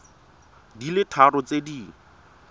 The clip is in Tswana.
di le tharo tse di